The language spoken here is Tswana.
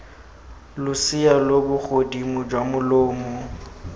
losea lo bogodimo jwa molomo